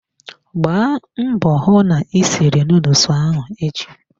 Gbaa mbọ hụ na ị siri nuduls ahụ echi!